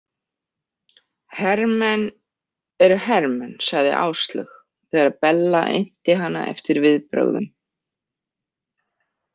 Hermenn eru hermenn, sagði Áslaug þegar Bella innti hana eftir viðbrögum.